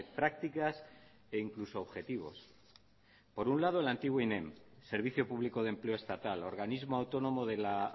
prácticas e incluso objetivos por un lado el antiguo inem servicio público de empleo estatal organismo autónomo de la